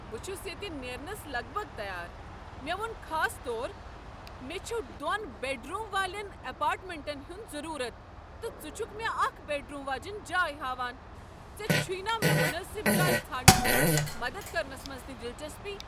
بہٕ چھُس ییتہِ نیرنس لگ بگ تیار ۔ مے٘ ووٚن خاص طور مے٘ چھ دۄن بیڈ روٗم والین ایپارٹمینٹن ہند ضروٗرت، تہٕ ژٕ چھكھ مے٘ اكھ بیڈ روٗم واجِنۍ جایہ ہا وان ۔ ژےٚ چھیہ نہٕ مے٘ مناسب جاے ژھانڈنس منٛز مدد كرنس منٛز تہِ لچسپی۔